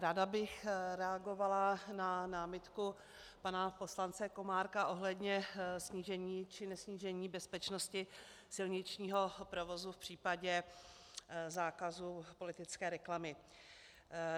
Ráda bych reagovala na námitku pana poslance Komárka ohledně snížení či nesnížení bezpečnosti silničního provozu v případě zákazu politické reklamy.